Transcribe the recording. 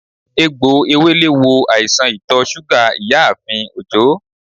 Egbò Ewèlè wo àìsàn ìtò súgà ìyáààfin Òjó